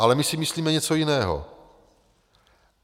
Ale my si myslíme něco jiného.